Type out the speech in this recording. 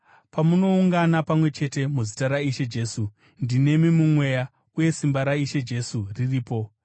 Pamunoungana pamwe chete muzita raIshe Jesu, ndinemi mumweya, uye simba raIshe Jesu riripo,